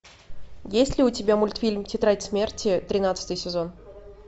есть ли у тебя мультфильм тетрадь смерти тринадцатый сезон